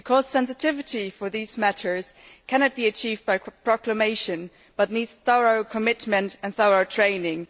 Sensitivity for these matters cannot be achieved by proclamation but needs thorough commitment and thorough training.